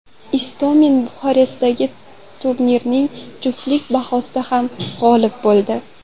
Istomin Buxarestdagi turnirning juftlik bahsida ham g‘olib bo‘ldi.